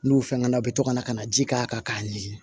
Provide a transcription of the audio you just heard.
N'u fɛngɛnna u bɛ to ka na ka na ji k'a kan k'a ɲimi